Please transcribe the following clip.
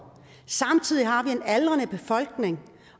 samtidig har vi en aldrende befolkning